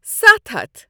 ستَھ ہَتھ